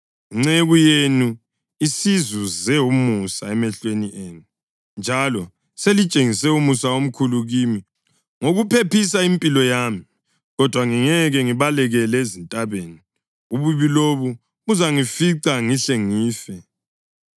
Inceku yenu isizuze umusa emehlweni enu, njalo selitshengise umusa omkhulu kimi ngokuphephisa impilo yami. Kodwa ngingeke ngibalekele ezintabeni; ububi lobu buzangifica ngihle ngife.